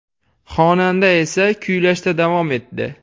Xonanda esa kuylashda davom etdi.